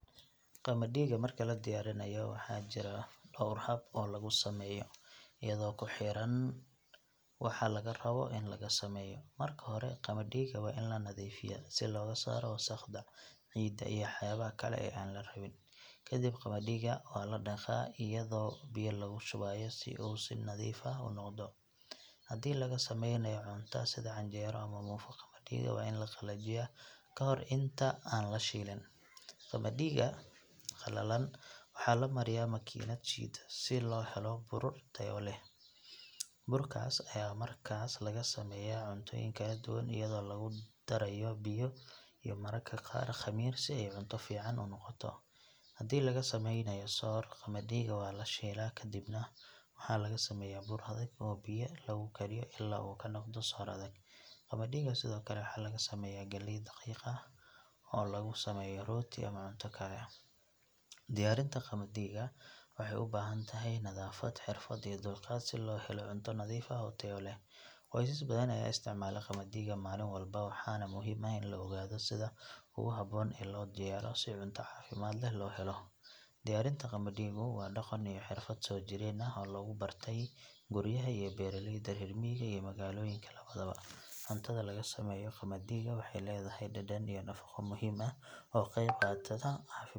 Qamadiga marka la diyaarinayo waxaa jira dhowr hab oo lagu sameeyo iyadoo ku xiran waxa laga rabo in laga sameeyo. Marka hore qamadiga waa in la nadiifiyaa si looga saaro wasakhda, ciidda iyo waxyaabaha kale ee aan la rabin. Kadib qamadiga waa la dhaqaa iyadoo biyo lagu shubayo si uu u nadiifo noqdo. Haddii laga samaynayo cunto sida canjeero ama muufo, qamadiga waa in la qalajiyaa ka hor inta aan la shiilin. Qamadiga qalalan waxaa la mariyaa makiinad shiida si loo helo bur tayo leh. Burkaas ayaa markaa laga sameeyaa cuntooyin kala duwan iyadoo lagu darayo biyo iyo mararka qaar khamiir si ay cunto fiican u noqoto. Haddii laga samaynayo soor, qamadiga waa la shiilaa kadibna waxaa laga sameeyaa bur adag oo biyo lagu kariyo ilaa uu ka noqdo soor adag. Qamadiga sidoo kale waxaa laga sameeyaa galey daqiiq ah oo lagu sameeyo rooti ama cunto kale. Diyaarinta qamadiga waxay u baahan tahay nadaafad, xirfad iyo dulqaad si loo helo cunto nadiif ah oo tayo leh. Qoysas badan ayaa isticmaala qamadiga maalin walba waxaana muhiim ah in la ogaado sida ugu habboon ee loo diyaariyo si cunto caafimaad leh loo helo. Diyaarinta qamadigu waa dhaqan iyo xirfad soojireen ah oo lagu bartay guryaha iyo beeraleyda reer miyiga iyo magaalooyinka labadaba. Cuntada laga sameeyo qamadiga waxay leedahay dhadhan iyo nafaqo muhiim ah oo qeyb qadata ah.